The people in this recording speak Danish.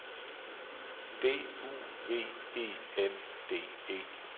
D U V E N D E